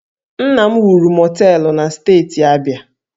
Nna m wuru mọteelụ na Steeti Abia